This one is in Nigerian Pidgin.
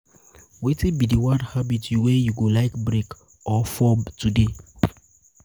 wetin be di one habit wey you go like break or form today?